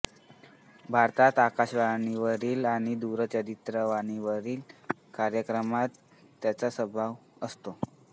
भारतात आकाशवाणीवरील आणि दूरचित्रवाणीतील कार्यक्रमांत त्यांचा सहभाग असतो